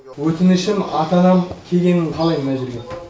өтінішім ата анам келгенін қалаймын мына жерге